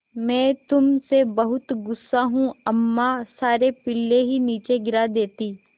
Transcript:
मैं तुम से बहुत गु़स्सा हूँ अम्मा सारे पिल्ले ही नीचे गिरा देतीं